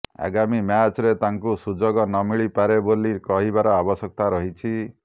ଆଗାମୀ ମ୍ୟାଚରେ ତାଙ୍କୁ ସୁଯୋଗ ନମିଳିପାରେ ବୋଲି କହିବାର ଆବଶ୍ୟକ ରହିଛି